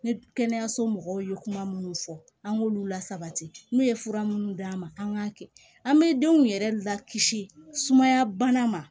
Ne kɛnɛyaso mɔgɔw ye kuma minnu fɔ an k'olu lasabati n'u ye fura minnu d'a ma an k'a kɛ an bɛ denw yɛrɛ lakisi sumaya bana ma